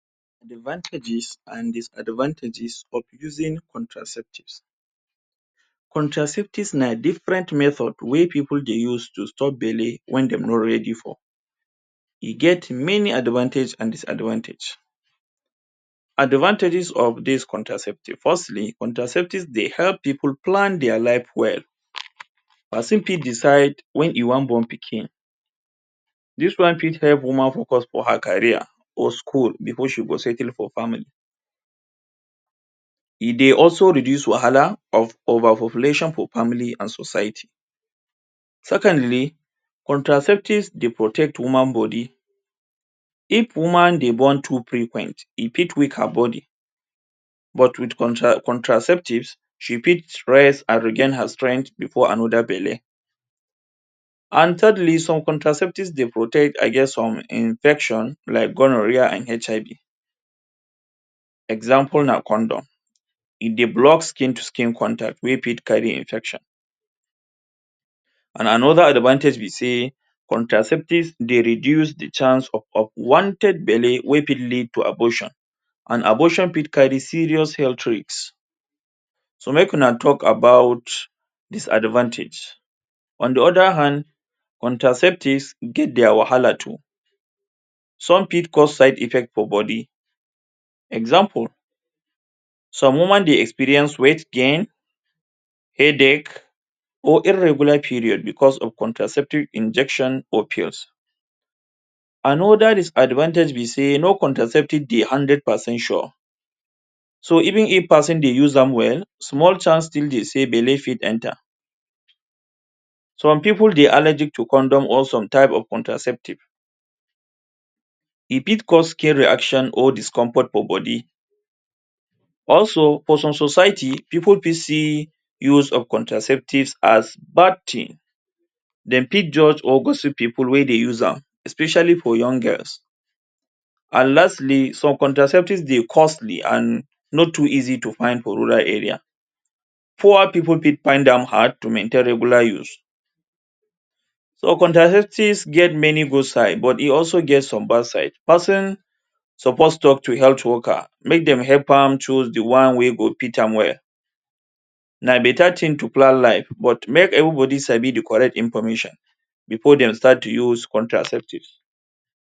Advantages and disadvantages of using contraceptives. Contraceptives na different method wey pipu dey use to stop belle when dey no ready for. E get many advantages and disadvantages. Advantages of these contraceptives. Firstly, contraceptives dey help pipu plan their life well. Pesin fit decide when e wan born pikin. Dos one fit help woman focus for her career or school before she go settle for family. E dey also reduce wahala of overpopulation for family and society. Secondly, contraceptives dey protect woman body. If woman dey born too frequent, e dey fit weak her body but, with contraceptives she fit rest and regain her strength before another belle. And thirdly, some contraceptive dey protect against some infections like gonorrhea and HIV. Example na condom. E dey block skin to skin contact wey fit carry infection. And another advantage be say, contraceptives dey reduce the chance of unwanted belle wey fit lead to abortion and abortion fit carry serious health risk. So make we now talk about disadvantage. On the other hand, contraceptives get their wahala too. Some fit cause side effects for body. Example, some woman dey experience weight gain, headache or irregular periods because of contraceptive injection or pills. Another disadvantage be say no contraceptive dey hundred percent sure. So, even if pesin dey use am well, small chance still dey say belle fit enter. Some people dey allergic to condom or some types of contraceptives. E fit cause skin reaction or discomfort for body. Also, for some society, pipu fit see use of contraceptives as bad thing. Dem fit judge or gossip wey dey use am especially for young girls. And lastly, some contraceptives dey costly and no too easy to find for rural area. Poor pipu fit find am hard to maintain regular use. So, contraceptives get many good side but e also get some bad side. Pesin suppose talk to health worker make dem help am chose the one wey go fit am well. Na better thing to plan life but make everybody sabi the correct information before dem start to use contraceptives.